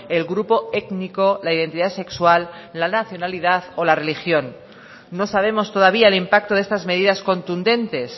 el grupo étnico la identidad sexual la nacionalidad o la religión no sabemos todavía el impacto de estas medidas contundentes